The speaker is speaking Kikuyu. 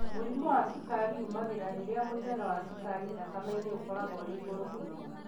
Mũrimũ wa cukari umagĩra rĩrĩa mũigana wa cukari thakameinĩ ũkoragwo ũrĩ igũrũ mũno.